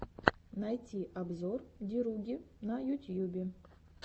найти обзор деруги на ютьюбе